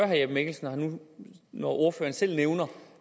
herre jeppe mikkelsen når ordføreren selv nævner